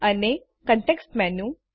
અને context menu